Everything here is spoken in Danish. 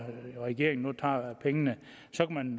regeringen nu tager pengene så kan